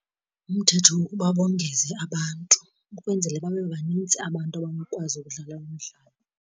Umthetho wokuba bongeze abantu ukwenzele babe banintsi abantu abanokwazi ukudlala umdlalo.